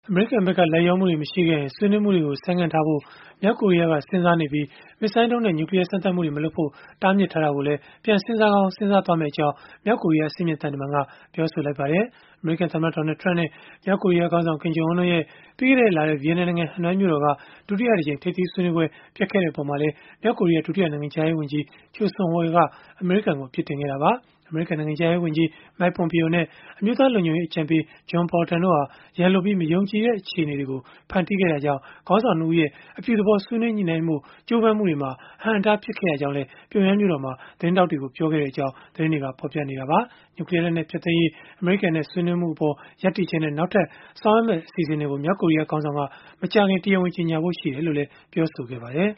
အမေရိကန်ဖက်က လိုက်လျောမှုတွေ မရှိခဲ့ရင်၊ ဆွေးနွေးမှုတွေကို ဆိုင်းငံ့ထားဖို့ မြောက်ကိုရီးယားက စဉ်းစားနေပြီး၊ မစ်ဇိုင်းဒုံးနဲ့ နျူကလီးယား စမ်းသပ်မှုတွေ မလုပ်ဖို့ တားမြစ်ထားတာကိုလည်း ပြန်စဉ်းစားကောင်း စဉ်းစားမယ့်အကြောင်း မြောက်ကိုရီးယား အဆင့်မြင့် သံတမန်က ပြောလိုက်ပါတယ်။ အမေရိကန်သမ္မတ Donald Trump နဲ့ မြောက်ကိုရီးယားခေါင်းဆောင် Kim Jong Un တို့ရဲ့ ပြီးခဲ့တဲ့လထဲ ဗီယက်နမ်နိုင်ငံ ဟနွိုင်မြို့တော်က ဒုတိယအကြိမ် ထိပ်သီးဆွေးနွေးပွဲ ပျက်ခဲ့တဲ့အပေါ်မှာလည်း မြောက်ကိုရီးယား ဒုတိယ နိုင်ငံခြားရေး ဝန်ကြီး Choe Son Hui က အမေရိကန်ကို အပြစ်တင်ခဲ့တာပါ။ အမေရိကန် နိုင်ငံခြားရေးဝန်ကြီး Mike Pompeo နဲ့ အမျိုးသားလုံခြုံရေး အကြံပေး John Bolton တို့ဟာ ရန်လိုပြီး၊ မယုံကြည်တဲ့ အခြေအနေတွေကို ဖန်တီးခဲ့တာကြောင့် ခေါင်းဆောင် ၂ ဦးရဲ့ အပြုသဘော ဆွေးနွေးညှိနှိုင်းဖို့ ကြိုးပမ်းမှုတွေမှာ အဟန့်အတား ဖြစ်ခဲ့ရကြောင်းလည်း ပြုံယမ်းမြို့တော်မှာ သတင်းထောက်တွေကို ပြောခဲ့ကြောင်း သတင်းတွေက ဖော်ပြခဲ့ကြတာပါ။ နျူးကလီးယားလက်နက် ဖျက်သိမ်းရေး အမေရိကန်နဲ့ ဆွေးနွေးမှုအပေါ် ရပ်တည်ချက်နဲ့ နောက်ထပ် ဆောင်ရွက်မယ့် အစီအစဉ်တွေကို မြောက်ကိုရီးယား ခေါင်းဆောင်က မကြာခင် တရားဝင် ကြေညာဖို့ရှိတယ်လို့လည်း ဆိုပါတယ်။